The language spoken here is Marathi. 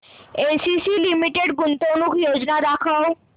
एसीसी लिमिटेड गुंतवणूक योजना दाखव